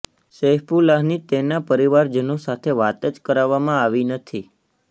સૈફુલ્લાહની તેના પરિવારજનો સાથે વાત જ કરાવવામાં આવી નથી